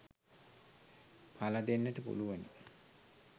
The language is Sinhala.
පල දෙන්නට පුළුවනි.